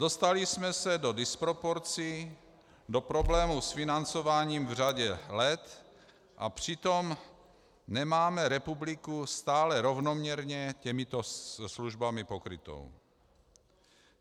Dostali jsme se do disproporcí, do problémů s financováním v řadě let, a přitom nemáme republiku stále rovnoměrně těmito službami pokrytou.